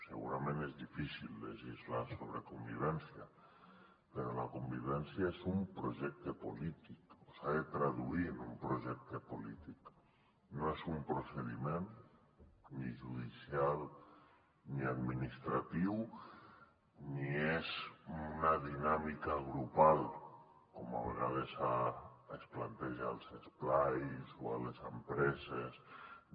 segurament és difícil legislar so·bre convivència però la convivència és un projecte polític o s’ha de traduir en un projecte polític no és un procediment ni judicial ni administratiu ni és una dinàmi·ca grupal com a vegades es planteja als esplais o a les empreses de